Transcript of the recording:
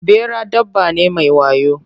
Ɓera dabba ne mai wayo.